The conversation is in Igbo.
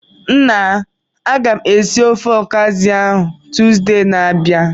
Nna, agam esi ofe Okazi ahu Tuzdee na-abia.